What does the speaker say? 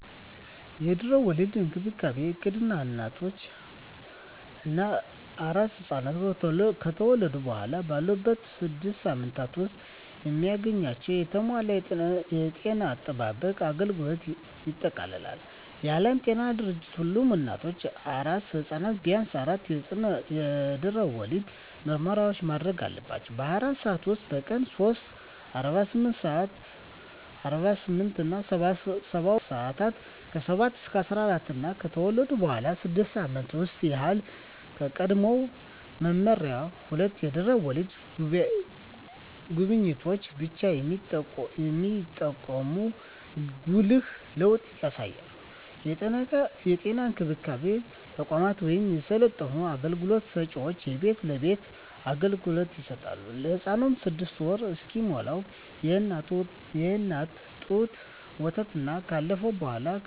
የድህረ ወሊድ እንክብካቤ እቅድ እናቶች እና አራስ ሕፃናት ከተወለዱ በኋላ ባሉት ስድስት ሳምንታት ውስጥ የሚያገኟቸውን የተሟላ የጤና አጠባበቅ አገልግሎቶችን ያጠቃልላል። የዓለም ጤና ድርጅት ሁሉም እናቶች እና አራስ ሕፃናት ቢያንስ አራት የድህረ ወሊድ ምርመራዎችን ማድረግ አለባቸው - በ24 ሰዓት ውስጥ፣ በቀን 3 (48-72 ሰአታት)፣ ከ7-14 ቀናት እና ከተወለዱ በኋላ ባሉት 6 ሳምንታት ውስጥ። ይህ ከቀድሞው መመሪያ ሁለት የድህረ ወሊድ ጉብኝቶችን ብቻ የሚጠቁም ጉልህ ለውጥ ያሳያል። የጤና እንክብካቤ ተቋማት ወይም የሰለጠኑ አገልግሎት ሰጭዎች የቤት ለቤት አገልግሎት ይሰጣሉ። ለህፃኑም 6ወር እስኪሞላው የእናት ጡት ወተትና ካለፈው በኃላ ከእፅዋት አትክልት፣ ፍራፍሬ ሰውነት ገንቢ እና በሽታ ተከላካይ ምግቦችን መመገብ አለብን